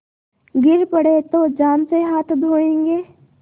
गिर पड़े तो जान से हाथ धोयेंगे